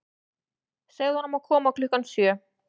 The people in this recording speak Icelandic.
Segðu honum að koma klukkan sjö.